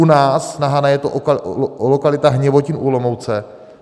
U nás na Hané je to lokalita Hněvotín u Olomouce.